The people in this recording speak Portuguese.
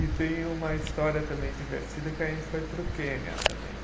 E tem uma história também divertida que a gente foi para o Quênia também.